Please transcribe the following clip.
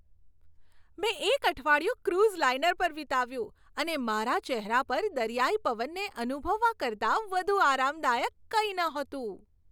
મેં એક અઠવાડિયું ક્રુઝ લાઇનર પર વિતાવ્યું, અને મારા ચહેરા પર દરિયાઈ પવનને અનુભવવા કરતાં વધુ આરામદાયક કંઈ નહોતું.